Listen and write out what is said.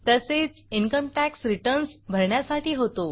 तसेच income tax returns भरण्यासाठी होतो